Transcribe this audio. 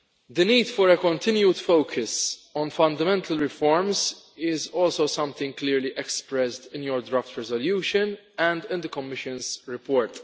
The need for a continued focus on fundamental reforms is also something clearly expressed in your draft resolution and in the Commission's report.